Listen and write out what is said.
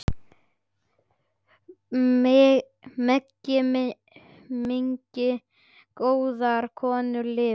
Megi minning góðrar konu lifa.